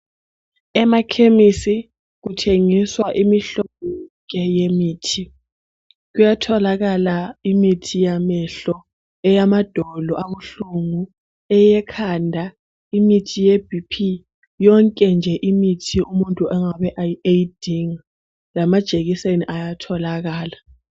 emakhemisi kuthengiswa imihlobo yonke yemithi kuyatholakala imithi yamehlo eyamadolo abahlungu eyekhanda imithi ye BP yonke nje imithi umuntu angabe eyidinga lamajekiseni kuyatholakala